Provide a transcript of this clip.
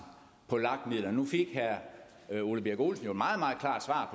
på lag midlerne nu fik herre herre ole birk olesen jo et meget meget